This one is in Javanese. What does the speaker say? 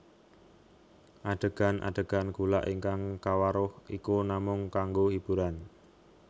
Adégan adégan gulak ingkang kawaruh iku namung kanggo hiburan